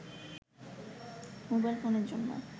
mobile ফোনের জন্য